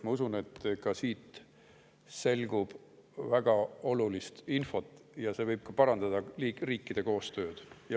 Ma usun, et ka siit selgub väga olulist infot ja see võib parandada riikide koostööd.